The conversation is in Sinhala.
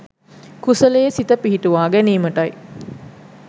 කුසලයේ සිත පිහිටුවා ගැනීමටයි